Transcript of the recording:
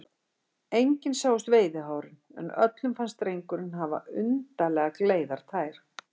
Engin sáust veiðihárin, en öllum fannst drengurinn hafa undarlega gleiðar tær.